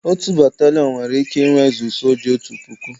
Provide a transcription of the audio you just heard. Otu Batalịọn nwere ike inwezu soja otu puku